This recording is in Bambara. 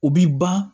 U bi ban